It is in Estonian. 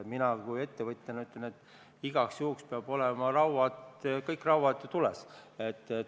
Mina kui ettevõtja ütlen, et igaks juhuks peavad kõik rauad tules olema.